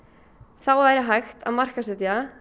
þá væri hægt að markaðssetja